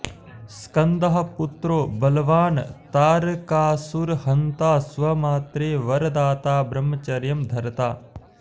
स्कन्दः पुत्रो बलवान् तारकासुरहन्ता स्वमात्रे वरदाता ब्रह्मचर्यं धर्ता